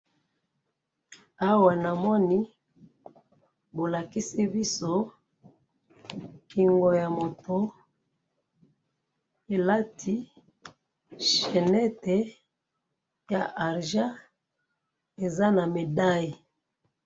awa na moni bolakisi biso kingo ya moto elati chenette ya argent eza na medaille